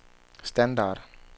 standard